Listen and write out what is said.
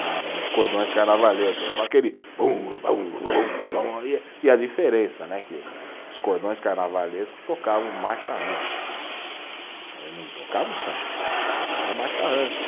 Na no, nos cordões carnavalescos, é só aquele bum, bum, bum, bum, e e a diferença né, que o, os cordões carnavalescos tocavam marcha-rancho, eh não tocavam samba, tocavam marcha-rancho.